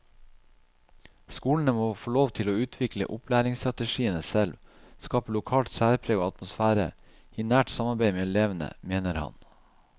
Skolene må få lov til å utvikle opplærinsstrategiene selv, skape lokalt sæpreg og atmosfære, i nært samarbeid med elevene, mener han.